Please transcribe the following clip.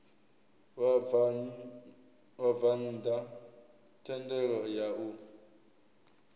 vhabvann ḓa thendelo ya u